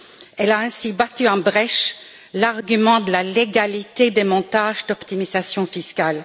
Elle a ainsi battu en brèche l'argument de la légalité des montages d'optimisation fiscale.